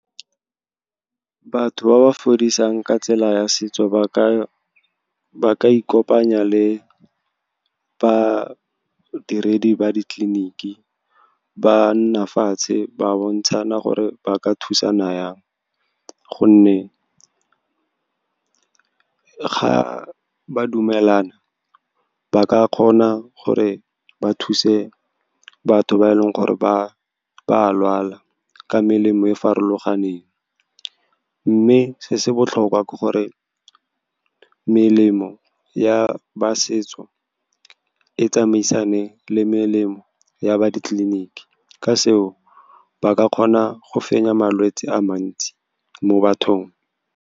Batho ba ba fodisang ka tsela ya setso ba ka ikopanya le badiredi ba ditleliniki, ba nna fatshe, ba bontshana gore ba ka thusana yang, gonne ga ba dumelana, ba ka kgona gore ba thuse batho ba e leng gore ba a lwala ka melemo e farologaneng. Mme se se botlhokwa ke gore melemo ya ba setso e tsamaisane le melemo ya ba ditleliniki. Ka seo, ba ka kgona go fenya malwetse a mantsi mo bathong.